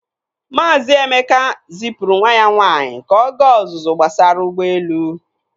Maazị Emeka zipụrụ nwa ya nwaanyị ka ọ gaa ọzụzụ gbasara ụgbọelu.